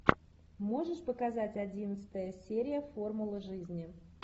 можешь показать одиннадцатая серия формула жизни